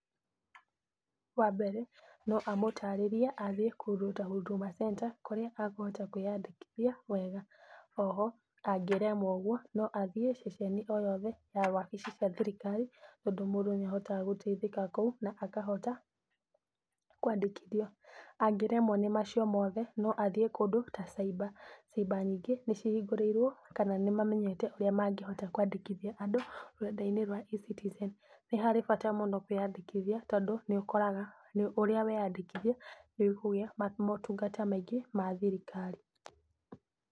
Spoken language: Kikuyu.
Wa mbere no amũtarirĩrie athiĩ kũndũ ta Huduma center kũrĩa kũhota kwĩyandĩkithia wega. O ho angĩremwo ũguo no athiĩ ceceni o yothe ya wabici cia thirikari, tondũ mũndũ nĩ ahotaga gũteithĩka kũu na akahota kwandĩkithio. Angĩremwo nĩ macio mohe no athiĩ kũndũ ta cyber. Cyber nyingĩ nĩ cihgingũrĩirwo kana nĩ mamenyete ũrĩa mangĩhota kwandĩkithia andũ rũrenda-inĩ rwa eCitizen. Nĩ hari bata mũno kwĩyandĩkithia, tondũ nĩ ũkoraga ũrĩa weyandĩkithia nĩ ũkũgĩa motungata maingĩ ma thirikari.